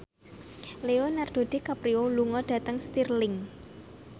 Leonardo DiCaprio lunga dhateng Stirling